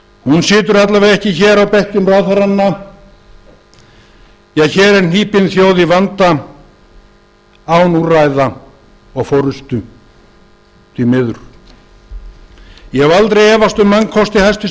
hún situr alla vega ekki hér á bekkjum ráðherranna því að hér er hnípin þjóð í vanda án úrræða og forustu því miður ég hef aldrei efast um mannkosti hæstvirtur